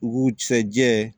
U k'usa jɛ